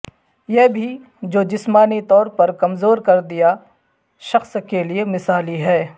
یہ بھی جو جسمانی طور پر کمزور کر دیا شخص کے لئے مثالی ہے